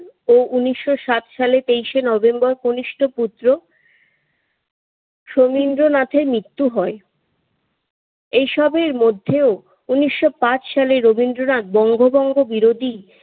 উনিশশো সাত সালে তেইশে নভেম্বর কনিষ্ঠ পুত্র সৌমিন্দ্রনাথের মৃত্যু হয়। এসবের মধ্যেও উনিশশো পাঁচ সালে বঙ্গভঙ্গ বিরোধী